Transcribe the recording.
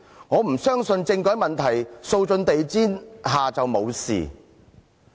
他不相信把政改問題掃進地氈下便會無事。